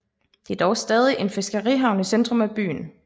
Der er dog stadig en fiskerihavn i centrum af byen